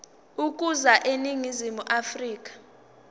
ukuza eningizimu afrika